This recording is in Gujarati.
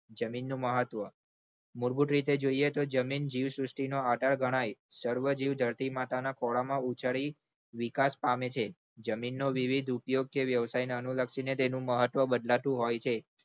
જમીનનું મહત્વ મૂળભૂત રીતે જોઈએ તો જમીન જીવ સૃષ્ટિનો આધાર ગણાય જીવ ધરતી માતાના ખોળામાં ઉગાડી વિકાસ પામે છે જમીનનો વિવિધ ઉપયોગ કે વ્યવસાયને અનુલક્ષીને તેનું મહત્વ બદલાતું હોય છે.